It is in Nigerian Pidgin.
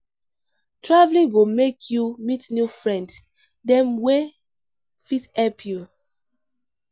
Traveling go make you meet new friend dem wey fit help your life.